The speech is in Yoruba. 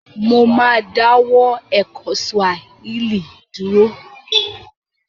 Mo ma dáwọ́ ẹ̀kọ́ Swahili dúró